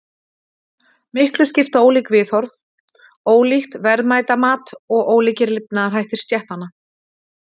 Miklu skipta ólík viðhorf, ólíkt verðmætamat og ólíkir lifnaðarhættir stéttanna.